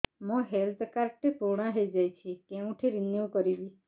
ମୋ health card ଟି ପୁରୁଣା ହେଇଯାଇଛି କେଉଁଠି ରିନିଉ କରିବି